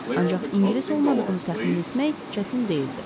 Ancaq ingilis olmadığını təxmin etmək çətin deyildi.